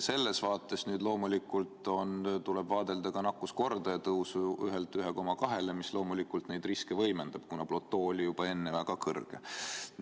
Ja muidugi meil tuleb arvesse võtta ka nakkuskordaja tõusu 1-lt 1,2-le, mis loomulikult riske võimendab, kuna platoo oli juba enne väga kõrge.